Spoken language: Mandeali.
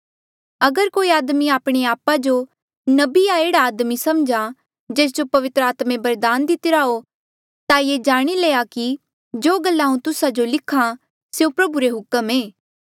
अगर कोई आदमी आपणे आपा जो नबी या एह्ड़ा आदमी सम्झहा जेस जो पवित्र आत्मे बरदान दितिरा हो ता ये जाणी ले कि जो गल्ला हांऊँ तुस्सा जो लिख्हा स्यों प्रभु रे हुक्म ऐें